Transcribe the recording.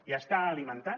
i està alimentant